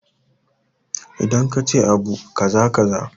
Idan kace abu kaza kaza